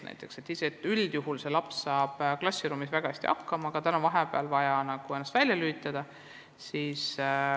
Näiteks mõni laps saab üldjuhul klassiruumis väga hästi hakkama, aga tal on vahepeal vaja ennast nagu välja lülitada.